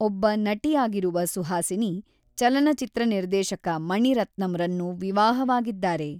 ಒಬ್ಬ ನಟಿಯಾಗಿರುವ ಸುಹಾಸಿನಿ, ಚಲನಚಿತ್ರ ನಿರ್ದೇಶಕ ಮಣಿರತ್ನಂರನ್ನು ವಿವಾಹವಾಗಿದ್ದಾರೆ.